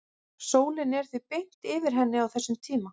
sólin er því beint yfir henni á þessum tíma